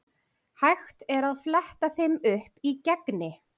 Hægt er að fletta þeim upp í Gegni.